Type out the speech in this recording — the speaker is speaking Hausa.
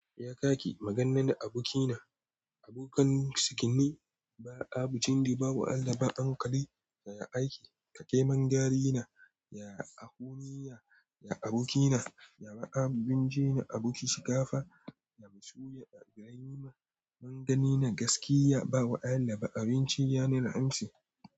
Ya kaki maganan abokina, abokan cinikii, ba abun dindi, ba allaba, ankali, ya aiki, ka keman garina, ya ahoni, ya abokina, ya ba abin ji, aboki shiga fa, ya musu, ya girima, magani na gaskiya, ba allaba, abinci yana amsi.